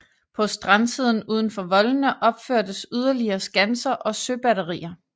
På strandsiden udenfor voldene opførtes yderligere skanser og søbatterier